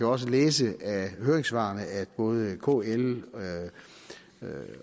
også læse af høringssvarene at både kl